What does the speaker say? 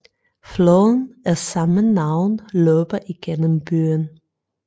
Floden af samme navn løber igennem byen